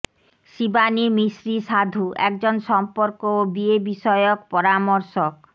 শিবানি মিশ্রি সাধু একজন সম্পর্ক ও বিয়ে বিষয়ক পরামর্শক